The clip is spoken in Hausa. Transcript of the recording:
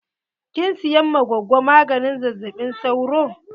Kin siyan ma gogo maganin zazzaɓi sauro?